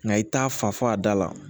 Nka i t'a fa fɔ a da la